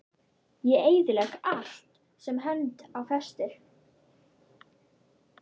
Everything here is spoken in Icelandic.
Ég eyðilegg allt sem hönd á festir.